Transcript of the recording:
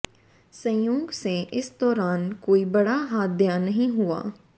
संयोग से इस दौरान कोई बड़ा हादया नहीं हुआ